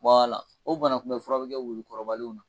o banakunbɛfura bɛ kɛ wulu kɔrɔbalenw na.